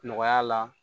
Nɔgɔya la